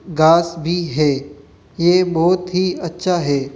घास भी है ये बहोत ही अच्छा है।